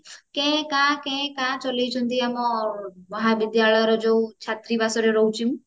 କେ କା କେ କା ଚଳେଇଛନ୍ତି ଆମ ମହାବିଦ୍ୟାଳୟର ଯୋଉ ଛାତ୍ରୀବାସରେ ରହୁଛି ମୁଁ